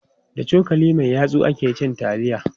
Da cokali mai yatsu ake cin taliya.